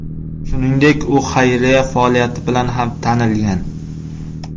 Shuningdek, u xayriya faoliyati bilan ham tanilgan.